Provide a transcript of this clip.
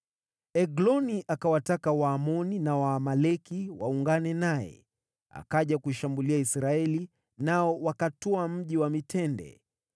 Egloni akawataka Waamoni na Waamaleki waungane naye, akaja kuishambulia Israeli, nao wakatwaa Mji wa Mitende